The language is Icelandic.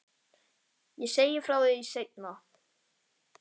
Ég segi frá því seinna.